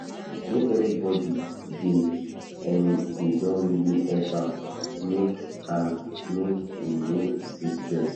make everybody dey em dey don really help am make am make em no see stress